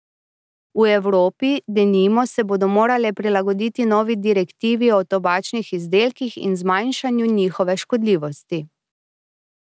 V Evropi, denimo, se bodo morale prilagoditi novi direktivi o tobačnih izdelkih in zmanjšanju njihove škodljivosti.